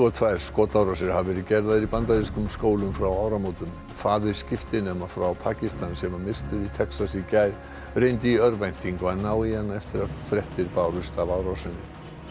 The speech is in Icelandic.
og tvær skotárásir hafa verið gerðar í bandarískum skólum frá áramótum faðir skiptinema frá Pakistan sem var myrtur í Texas í gær reyndi í örvæntingu að ná í hana eftir að fréttir bárust af árásinni